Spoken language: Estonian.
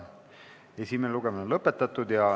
Esimene lugemine on lõppenud.